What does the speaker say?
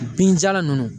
Binjalan ninnu